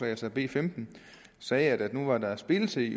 altså b femten sagde at nu var der splittelse i